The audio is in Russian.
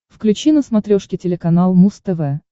включи на смотрешке телеканал муз тв